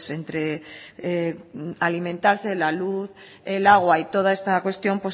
entre alimentarse la luz el agua y toda esta cuestión